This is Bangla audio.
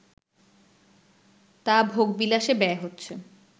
তা ভোগবিলাসে ব্যয় হচ্ছে